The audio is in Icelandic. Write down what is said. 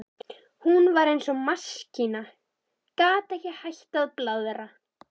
Hún var eins og maskína, gat ekki hætt að blaðra.